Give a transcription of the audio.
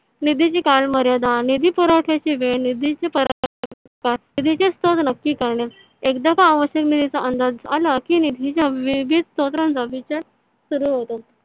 निधीची काळमर्याद निधी पुरवठ्याची वेळ निधीची निधीचे स्त्रोत नक्की करणे एकदा का आवश्यक निधीचा अंदाज आला की निधीच्या वेगवेगल्या स्त्रोतनचा विचार सुरू होतो.